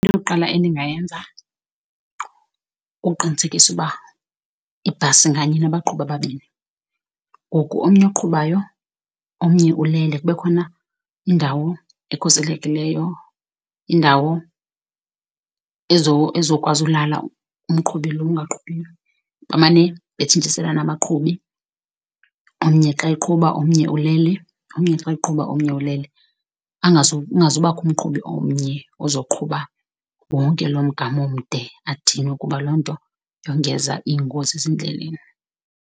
Eyokuqala endingayenza kukuqinisekisa uba ibhasi nganye inabaqhubi ababini. Ngoku omnye oqhubayo omnye ulele. Kube khoma indawo ekhuselekileyo, indawo ezokwazi ulala umqhubi lo ungaqhubiyo, bamane betshintshiselana abaqhubi. Omnye xa eqhuba omnye ulele, omnye xa eqhuba omnye ulele. Kungazobakho umqhubi omnye ozoqhuba wonke loo mgama omde adinwe, kuba loo nto yongeza iingozi ezindleleni.